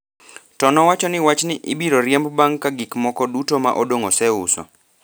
to nowacho ni wachni ibiro riembo bang’ ka gik moko duto ma odong’ oseuso